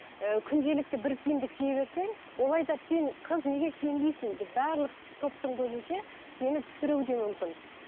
і күнделікті бір киімді кие берсең ол айтады сен қыз неге киінбейсің деп барлық топтың көзінше сені түсіруі де мүмкін